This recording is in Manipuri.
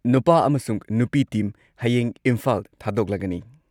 ꯅꯨꯄꯥ ꯑꯃꯁꯨꯡ ꯅꯨꯄꯤ ꯇꯤꯝ ꯍꯌꯦꯡ ꯏꯝꯐꯥꯜ ꯊꯥꯗꯣꯛꯂꯒꯅꯤ꯫